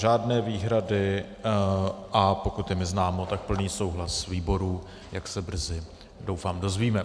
Žádné výhrady, a pokud je mi známo, tak plný souhlas výboru, jak se brzy doufám dozvíme.